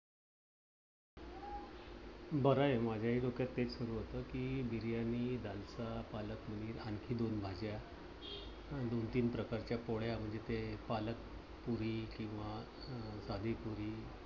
बराय. माझ्या हि डोक्यात तेच सुरु होतं कि बिर्याणी दाल fray पालक पनीर, आणखी दोन भाज्या. दोन तीन प्रकारच्या पोळ्या म्हणजे ते पालकपुरी किंवा साधीपुरी